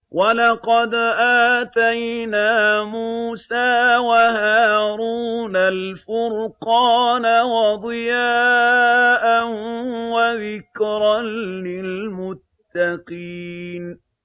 وَلَقَدْ آتَيْنَا مُوسَىٰ وَهَارُونَ الْفُرْقَانَ وَضِيَاءً وَذِكْرًا لِّلْمُتَّقِينَ